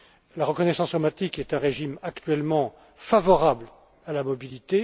La reconnaissance automatique est un régime actuellement favorable à la mobilité.